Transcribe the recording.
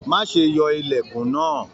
Má ṣe yọ ilẹkùn náà!